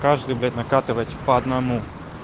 каждый блять накатывать по одному